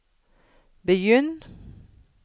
begynn